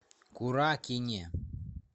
куракине